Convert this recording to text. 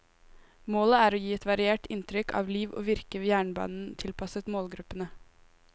Målet er å gi et variert inntrykk av liv og virke ved jernbanen tilpasset målgruppene.